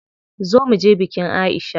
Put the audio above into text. Zo muje bikin Aisha.